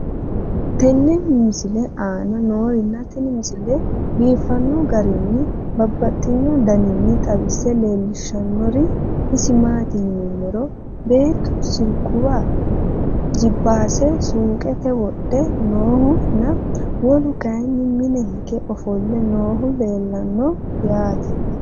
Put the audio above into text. tenne misile aana noorina tini misile biiffanno garinni babaxxinno daniinni xawisse leelishanori isi maati yinummoro beettu silikuwa, jipaase suuqqette wodhe noohu nna wolu Kay mine hige ofolle noohu leelanno yaatte